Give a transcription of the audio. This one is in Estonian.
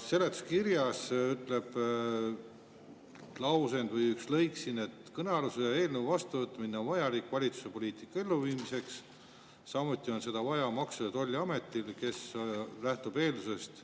Seletuskirjas ütleb üks lõik siin, et kõnealuse eelnõu vastuvõtmine on vajalik valitsuse poliitika elluviimiseks, samuti on seda vaja Maksu‑ ja Tolliametile, kes lähtub eeldusest,